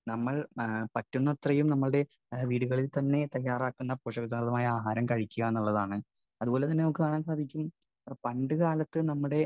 Speaker 1 നമ്മൾ പറ്റുന്നത്രയും നമ്മുടെ വീടുകളിൽത്തന്നെ തയ്യാറാക്കുന്ന പോഷകസമൃദ്ധമായ ആഹാരം കഴിക്കുക എന്നുള്ളതാണ്. അതുപോലെതന്നെ നമുക്ക് കാണാൻ സാധിക്കും പണ്ടുകാലത്തെ നമ്മുടെ